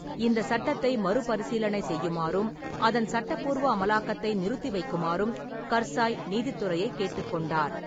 இந்தச் சட்டத்தை மறுபரிசீலனை செய்யுமாறும், அதன் சட்டப்பூர்வ அமலாக்கத்தை நிறுத்திவைக்குமாறும் கர்சாய் நீதித்துறையை கேட்டுக் கொண்டார்.